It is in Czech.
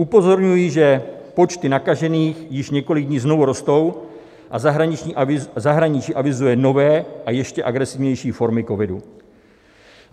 Upozorňuji, že počty nakažených již několik dní znovu rostou a zahraničí avizuje nové a ještě agresivnější formy covidu.